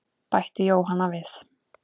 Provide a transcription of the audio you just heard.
Bætti Jóhanna við.